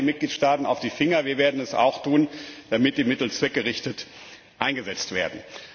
Schauen Sie den Mitgliedstaaten auf die Finger, wir werden es auch tun, damit die Mittel zweckgerichtet eingesetzt werden.